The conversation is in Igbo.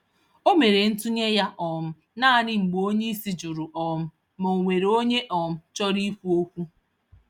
Omere ntụnye ya um nanị mgbe onyeisi jụrụ um ma, onwere onye um chọrọ ikwu okwu